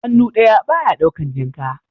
Hannu ɗaya ba ya ɗaukan jinka